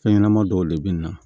Fɛn ɲɛnɛma dɔw de be na